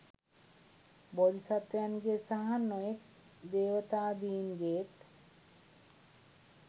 බෝධිසත්වයන්ගේ සහ නොයෙක් දේවතාදීන්ගේත්